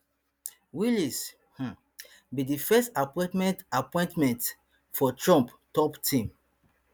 wiles um be di first appointment appointment for trump top team